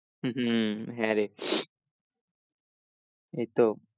হম হম হ্যাঁ রে